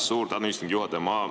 Suur tänu, istungi juhataja!